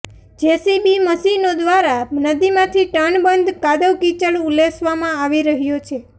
JCB મશીનો દ્વારા નદીમાંથી ટનબંધ કાદવકીચડ ઉલેચવામાં આવી રહ્યો છે